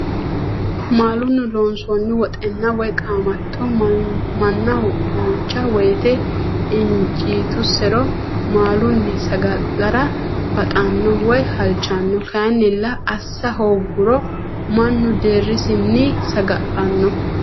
Maalunni loonsoonni woxxinna woyi qaamatto, manaho duucha woyite injitusiro maalunni saga'lara baxano woyi halichano kayinnilla asa hooguro manu deerisinni saga'lanno